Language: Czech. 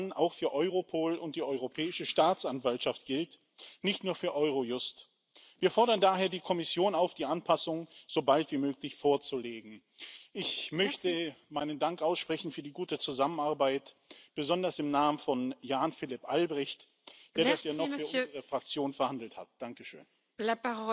že i EU na té nejvyšší úrovni tuto legislativu přijímá. Samozřejmě, že musí mít výjimky některé agentury, jako Europol, Eurojust nebo EUIPO, které vlastně ze své podstaty musí plnit trošku jiné úkoly